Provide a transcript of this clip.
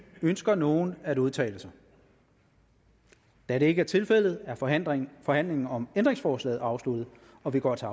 ønsker nogen at udtale sig da det ikke er tilfældet er forhandlingen forhandlingen om ændringsforslaget afsluttet og vi går til